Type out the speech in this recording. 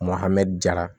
hamna